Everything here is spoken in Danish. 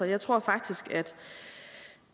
jeg tror faktisk at